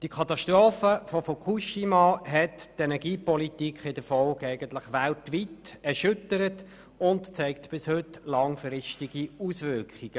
Diese Katastrophe hat die Energiepolitik weltweit erschüttert und zeigt bis heute langfristige Auswirkungen.